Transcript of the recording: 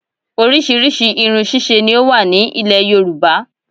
Orísìírísìí irun ṣíṣe ni ó wà ní ilẹ̀ yorùbá